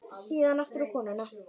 Síðan aftur á konuna.